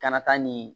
Kana taa ni